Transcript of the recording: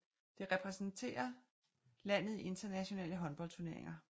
Det repræsenterer landet i internationale håndboldturneringer